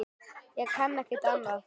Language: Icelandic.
Ég kann ekkert annað.